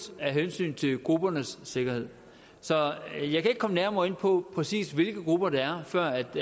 af hensyn til gruppernes sikkerhed så jeg kan ikke komme nærmere ind på præcis hvilke grupper det er før